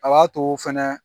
A b'a too fɛnɛ